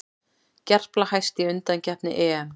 Gerpla hæst í undankeppni EM